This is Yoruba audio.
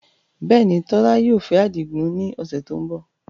Bẹ́ẹ̀ ni, Tola yóò fẹ́ Adigun ní ọ̀sẹ̀ tó ń bọ̀